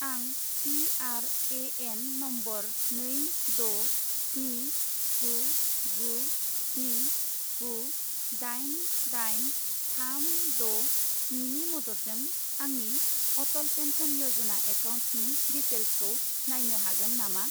आं PRAN. Number नै द' स्नि गु गु स्नि गु दाइन दाइन थाम द' स्नि नि मददजों आंनि अटल पेन्सन य'जना एकाउन्टनि डिटेइल्सखौ नायनो हागोन नामा?